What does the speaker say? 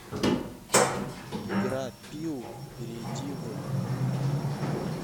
игра пиу перейди в